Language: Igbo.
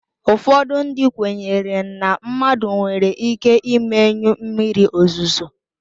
Ụfọdụ ndị kweere na mmadụ nwere ike imenyụ mmiri ozuzo